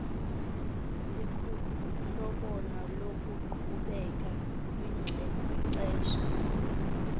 sikuhlobo loqhubeko kwixesha